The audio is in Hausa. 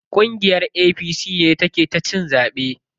Ƙungiyar APC ce ta ke cin zaɓe.